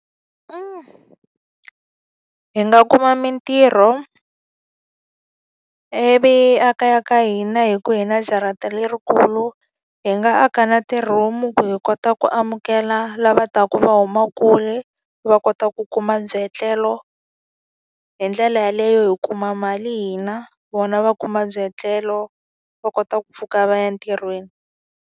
Hi nga kuma mintirho ivi a kaya ka hina hikuva hi na jarata lerikulu, hi nga aka na ti-room-u hi kota ku amukela lava taka va huma kule va kota ku kuma byietlelo. Hi ndlela yaleyo hi kuma mali hina, vona va kuma byietlelo, va kota ku pfuka va ya entirhweni.